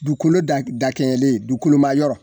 Duukolo da g dakɛɲɛlen duukoloma yɔrɔ